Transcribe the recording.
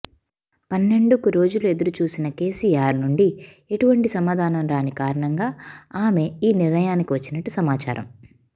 పన్నెండుకు రోజులు ఎదురు చూసిన కేసీఆర్ నుండి ఎటువంటి సమాధానం రాని కారణంగా ఆమె ఈ నిర్ణయానికి వచ్చినట్టు సమాచారం